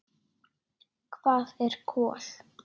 Hvað er kol?